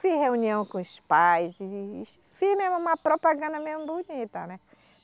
Fiz reunião com os pais, fiz mesmo uma propaganda mesmo bonita, né?